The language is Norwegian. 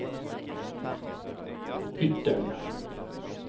Ytteren